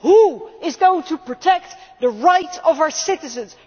Who is going to protect the right of our citizens?